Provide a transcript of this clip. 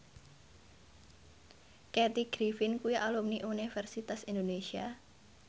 Kathy Griffin kuwi alumni Universitas Indonesia